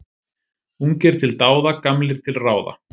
Ungir til dáða, gamlir til ráða.